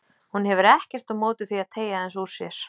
Hún hefur ekkert á móti því að teygja aðeins úr sér.